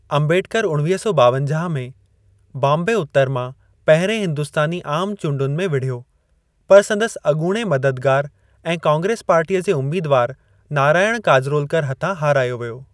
अंबेडकर उणिवीह सौ ॿावंजाह में बॉम्बे उतर मां पहिरें हिंदुस्तानी आमु चूंडुनि में वड़िहियो, पर संदसि अॻूणे मददगारु ऐं कांग्रेस पार्टीअ जे उम्मीदवार नारायण काजरोलकर हथां हारायो वियो।